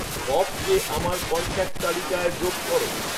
ববকে আমার কন্ট্যাক্ট তালিকায় যোগ করো